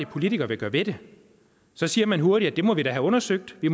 politiker vil gøre ved det så siger man hurtigt at det må vi da have undersøgt vi